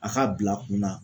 A k'a bil'a kunna